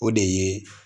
O de ye